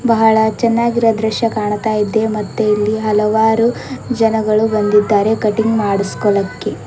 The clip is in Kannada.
ಬಹಳ ಚೆನ್ನಾಗಿರೊ ದೃಶ್ಯ ಕಾಣ್ತಾ ಇದೆ ಮತ್ತು ಇಲ್ಲಿ ಹಲವಾರು ಜನರುಗಳು ಬಂದಿದ್ದಾರೆ ಕಟಿಂಗ್ ಮಾಡಿಸ್ಕೊಳೊಕ್ಕೆ.